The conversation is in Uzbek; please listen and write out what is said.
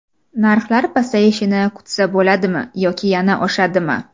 Narxlar pasayishini kutsa bo‘ladimi yoki yana oshadimi?